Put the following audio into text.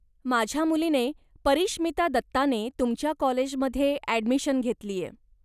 माझ्या मुलीने, परीश्मिता दत्ताने तुमच्या कॉलेजमध्ये ॲडमिशन घेतलीय.